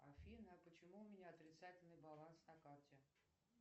афина почему у меня отрицательный баланс на карте